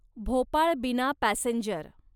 भोपाळ बिना पॅसेंजर